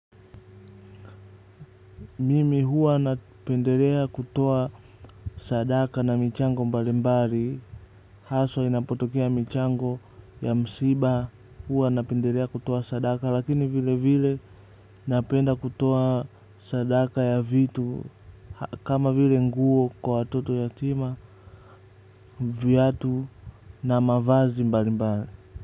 Mimi huwa napendelea kutoa sadaka na michango mbalimbali. Haswa inapotokea mchango wa msiba huwa napendelea kutoa sadaka lakini vile vile napenda kutoa sadaka ya vitu. Kama vile nguo kwa watoto yatima viatu na mavazi mbalimbari.